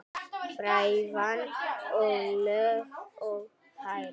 Frævan er löng og hærð.